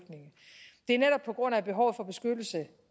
er netop på grund af at behovet for beskyttelse